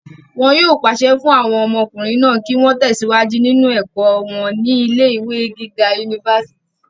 wọn yóò pàṣẹ fún àwọn ọmọkùnrin náà kí wọ́n tẹ̀síwájú nínú ẹ̀kọ́ wọn ní ilé ìwé gíga unifásitì